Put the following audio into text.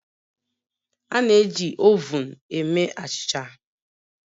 A na-eji ovun eme achịcha